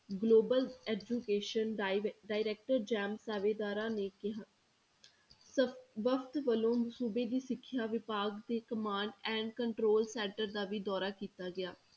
Global education direc~ direct ਸਾਵੇਦਾਰਾਂ ਨੇ ਕਿਹਾ ਵਕਤ ਵੱਲੋਂ ਸੂਬੇ ਦੀ ਸਿੱਖਿਆ ਵਿਭਾਗ ਦੀ command and control center ਦਾ ਵੀ ਦੌਰਾ ਕੀਤਾ ਗਿਆ।